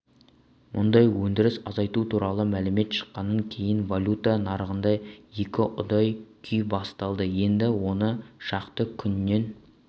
мұнай өндіріс азайту туралы мәлімет шыққаннан кейін валюта нарығында екіұдай күй басталды енді он шақты күннен